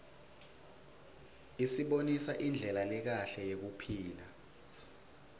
isibonisa indlela lekahle yekuphila